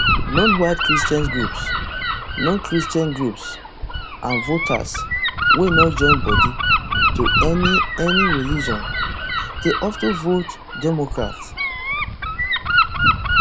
nonwhite christian groups nonchristian groups and voters wey no join body to any any religion dey of ten vote democrat